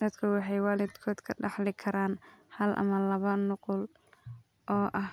Dadku waxay waalidkood ka dhaxli karaan hal ama laba nuqul oo ah